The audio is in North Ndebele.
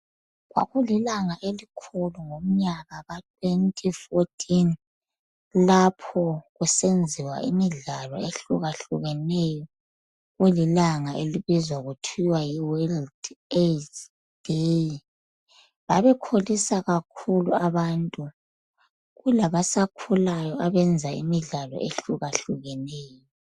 Kwakulilanga elikhulu ngomnyaka ka 2014. Lapho kusenziwa imidlalo ehlukahlukeneyo. Kulilanga elibizwa kuthiwa, yiWorld AIDS Day. Babekholisa kakhulu abantu. Kulabasakhulayo, abenza imidlalo ehlukahlukeneyo.